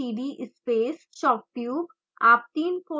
type करें cd space shocktube